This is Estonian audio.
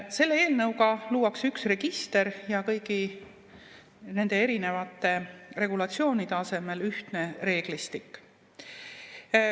Selle eelnõuga luuakse üks register ja kõigi nende erinevate regulatsioonide asemel ühtne reeglistik.